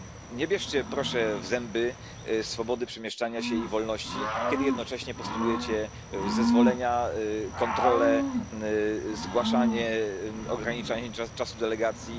Nie bierzcie, proszę, w zęby swobody przemieszczania się i wolności, kiedy jednocześnie postulujecie zezwolenia, kontrole, zgłaszanie, ograniczanie czasu delegacji.